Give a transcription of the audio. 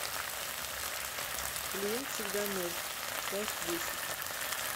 клиент всегда мертв часть десять